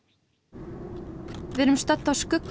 við erum stödd